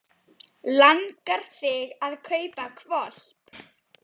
Langar þig að kaupa hvolp?